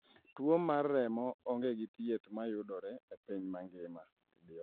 Tuwo mar remo onge gi thieth ma yudore e piny mangima.